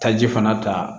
Taji fana ta